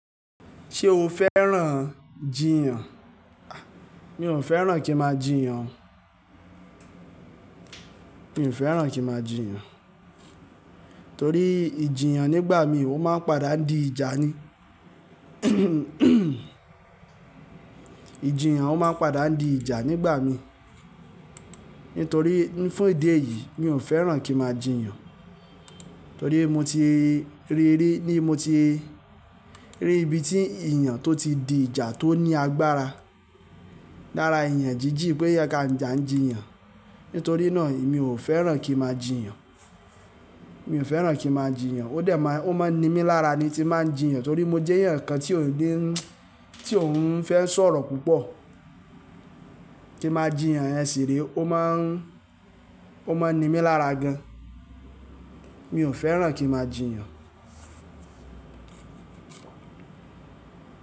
Ṣé o fẹ́ràn jìyàn? A! Mi ò fẹ́ràn kí n máa jìyàn. Mi ò fẹ́ràn kí n máa jìyàn, torí ìjìyàn nígbà mí ó máa ń padà di ìjà ni. Ìjìyàn ó máa ń padà di ìjà nígbà mí. Nítorí, fún ìdí èyí mi ò fẹ́ràn kí n máa jìyàn. Torí mo ti ríi ri-- ni mo ti rí ibi tí iyàn tó ti di ìjà tó ní agbára lára iyàn jíjì-- pé ẹ-- à ń jìyàn. Nítorí náà emi ò fẹ́ràn kí n máa jìyàn. Mi ò fẹ́ràn kí máa jìyàn. Ó dẹ̀ má, ó máa ń ni mí lára ni tí báa ń jìyàn torí mo jẹ́ èèyàn kan tí ò lè-- tí ò ń fẹ́ sọ̀rọ̀ púpọ̀. Kí n máa jìyàn yẹ́n ṣì re, ó máa ń, ó máa ń ni mí lára gan. Mi ò fẹ́ràn kí n máa jìyàn.